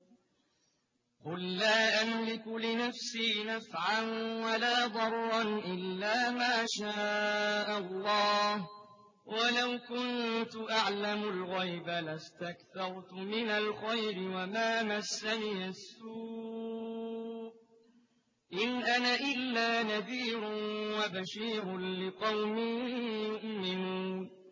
قُل لَّا أَمْلِكُ لِنَفْسِي نَفْعًا وَلَا ضَرًّا إِلَّا مَا شَاءَ اللَّهُ ۚ وَلَوْ كُنتُ أَعْلَمُ الْغَيْبَ لَاسْتَكْثَرْتُ مِنَ الْخَيْرِ وَمَا مَسَّنِيَ السُّوءُ ۚ إِنْ أَنَا إِلَّا نَذِيرٌ وَبَشِيرٌ لِّقَوْمٍ يُؤْمِنُونَ